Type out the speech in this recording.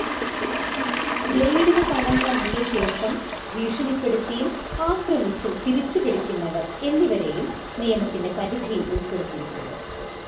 ബ്ളേഡിനു പണം നൽകിയശേഷം ഭീഷണിപ്പെടുത്തിയും ആക്രമിച്ചും തിരിച്ചുപിടിക്കുന്നവർ, എന്നിവരെയും നിയമത്തിന്റെ പരിധിയിൽ ഉൾപ്പെടുത്തിയിട്ടുണ്ട്.